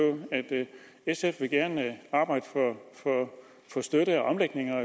at sf gerne vil arbejde for støtte og omlægning og